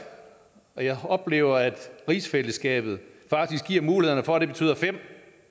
jeg oplever at rigsfællesskabet faktisk giver mulighed for at det betyder fem